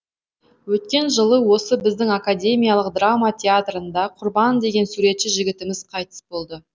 өткен жылы осы біздің академиялық драма театрында құрбан деген суретші жігітіміз қайтыс болды